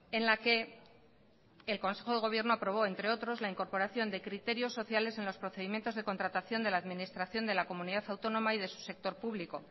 en la que el consejo del gobierno aprobó entre otros la incorporación de criterios sociales en los procedimientos de contratación de la administración de la comunidad autónoma y de su sector público